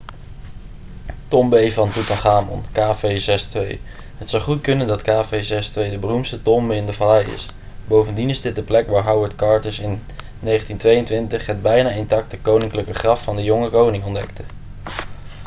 tombe van toetanchamon kv62. het zou goed kunnen dat kv62 de beroemdste tombe in de vallei is. bovendien is dit de plek waar howard carters in 1922 het bijna intacte koninklijke graf van de jonge koning ontdekte